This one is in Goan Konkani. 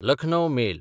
लखनौ मेल